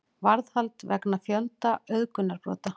Varðhald vegna fjölda auðgunarbrota